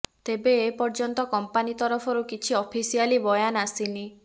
ତେବେ ଏପର୍ଯ୍ୟନ୍ତ କମ୍ପାନୀ ତରଫରୁ କିଛି ଅଫିସିଆଲି ବୟାନ ଆସିନି